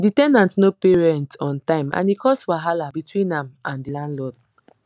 the ten ant no pay rent on time and e cause wahala between am and the landlord